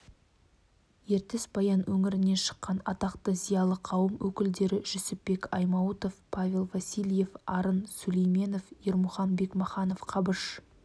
ертіс-баян өңірінен шыққан атақты зиялы қауым өкілдері жүсіпбек аймауытов павел васильев арын сүлейменов ермұхан бекмаханов қабыш